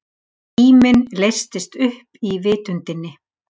Tíminn leystist upp í vitundinni.